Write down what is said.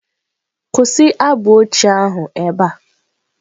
Kwụsị abụ ochie ahụ ebe a!.